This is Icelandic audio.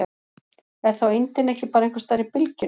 Er þá eindin ekki bara einhvers staðar í bylgjunni?